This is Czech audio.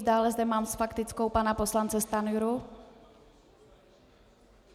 Dále zde mám s faktickou pana poslance Stanjuru.